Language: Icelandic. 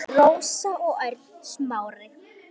Rósa og Örn Smári.